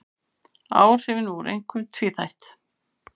Áhrifin voru einkum tvíþætt